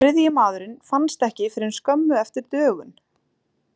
Þriðji maðurinn fannst ekki fyrr en skömmu eftir dögun.